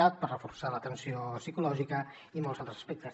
cat per reforçar l’atenció psicològica i molts altres aspectes